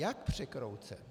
Jak překroucen?